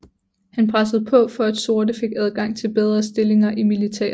Han pressede på for at sorte fik adgang til bedre stillinger i militæret